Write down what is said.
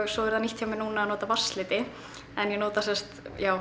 svo er það nýtt hjá mér núna að nota vatnsliti en ég nota sem sagt